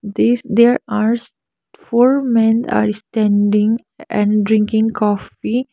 this there ares four men are standing and drinking coffee.